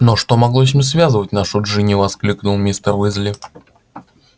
но что могло с ним связывать нашу джинни воскликнул мистер уизли